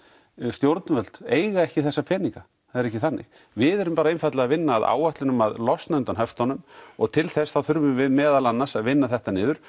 stjórnvöld eiga ekki þessa peninga það er ekki þannig við erum einfaldlega að vinna að áætlun um að losna undan höftunum og til þess þá þurfum við meðal annars að vinna þetta niður